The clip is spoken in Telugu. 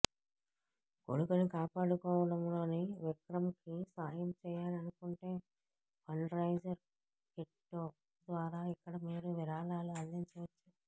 కొడుకుని కాపాడుకోవడంలో విక్రంకి సాయం చేయాలనుకుంటే ఫండ్ రైజర్ కెట్టో ద్వారా ఇక్కడ మీరు విరాళాలు అందించవచ్చు